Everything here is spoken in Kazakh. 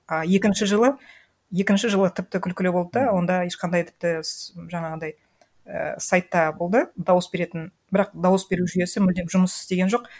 а екінші жылы екінші жылы тіпті күлкілі болды да онда ешқандай тіпті жаңағындай ііі сайтта болды дауыс беретін бірақ дауыс беру жүйесі мүлдем жұмыс істеген жоқ